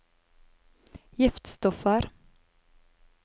giftstoffer